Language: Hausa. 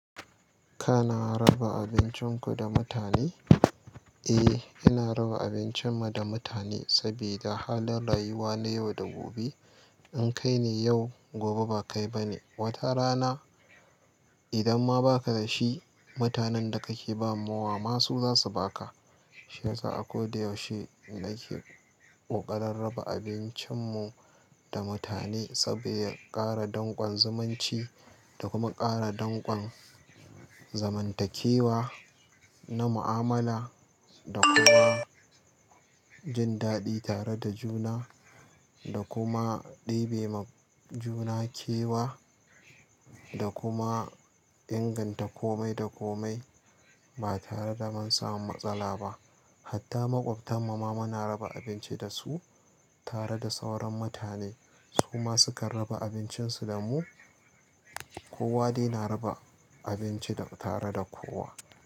Kana raba abincinku da mutane? Eh, ina raba abincinmu da mutane saboda halin rayuwa na yau da gobe. In kai ni yau, gobe ba kai ba ni. Wata rana idan ma ba ka da shi, mutanen da kake ba mawa masu za su ba ka. Shi yasa akoda yaushe nake ƙoƙarin raba abincinmu da mutane saboda ya ƙara danƙon zumunci da kuma ƙara danƙon zamantakewa na mu'amala da kuma jin daɗi tare da juna da kuma ɗebe ma juna kewa da kuma inganta kome da kome ba tare da mun samu matsala ba. Hatta maƙwabtan mu ma muna raba abinci da su tare da sauran mutane. Su ma sukan raba abincin su da mu. Kowa dai na raba abinci tare da kowa.